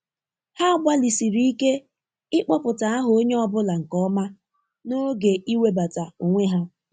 Ha gbalịsiri ike ịkpọpụta aha onye ọ bụla nke ọma n'oge iwebata onwe ha.